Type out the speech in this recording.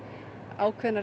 ákveðnar